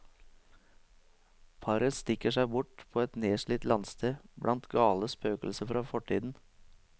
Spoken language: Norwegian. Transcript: Paret stikker seg bort på et nedslitt landsted, blant gale spøkelser fra fortiden.